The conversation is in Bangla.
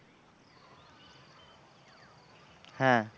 হ্যাঁ,